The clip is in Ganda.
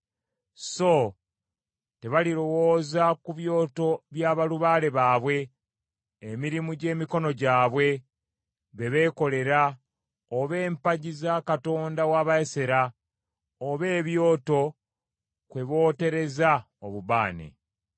So tebalirowooza ku byoto bya balubaale baabwe, emirimu gy’emikono gyabwe, be beekolera, oba empagi za katonda wa Baasera oba ebyoto kwe bootereza obubaane.